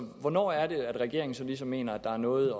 hvornår er det at regeringen ligesom mener at der er noget